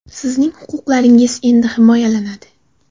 Sizning huquqlaringiz endi himoyalanadi!